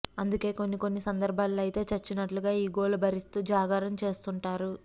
అందుకే కొన్ని కొన్ని సందర్భాల్లో అయితే చచ్చినట్లుగా ఈ గోల భరిస్తూ జాగారం చేస్తుంటారు